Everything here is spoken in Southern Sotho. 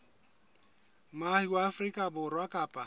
moahi wa afrika borwa kapa